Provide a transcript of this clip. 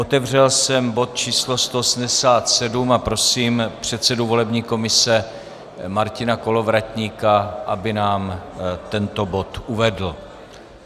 Otevřel jsem bod číslo 187 a prosím předsedu volební komise Martina Kolovratníka, aby nám tento bod uvedl.